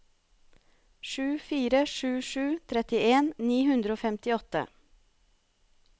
sju fire sju sju trettien ni hundre og femtiåtte